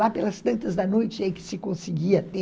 Lá pelas tantas da noite é que se conseguia ter